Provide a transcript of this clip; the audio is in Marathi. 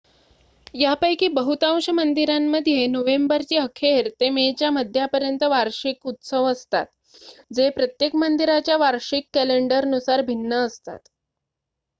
यापैकी बहुतांश मंदिरांमध्ये नोव्हेंबरची अखेर ते मेच्या मध्यापर्यंत वार्षिक उत्सव असतात जे प्रत्येक मंदिराच्या वार्षिक कॅलेंडरनुसार भिन्न असतात